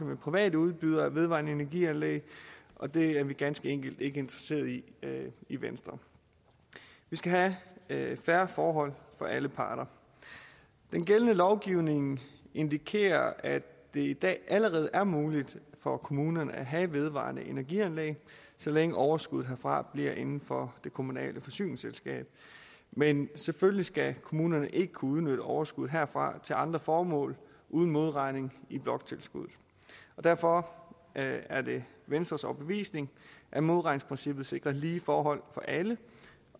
med private udbydere af vedvarende energi anlæg og det er vi ganske enkelt ikke interesserede i i venstre vi skal have fair forhold for alle parter den gældende lovgivning indikerer at det i dag allerede er muligt for kommunerne at have vedvarende energi anlæg så længe overskuddet herfra bliver inden for det kommunale forsyningsselskab men selvfølgelig skal kommunerne ikke kunne udnytte overskuddet herfra til andre formål uden modregning i bloktilskuddet derfor er det venstres overbevisning at modregningsprincippet sikrer lige forhold for alle